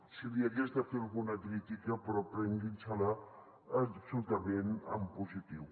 si li hagués de fer alguna crítica però prenguin se la absolutament en positiu